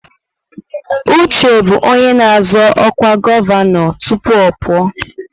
Uche bụ onye na-azọ ọkwa gọvanọ tupu ọ pụọ.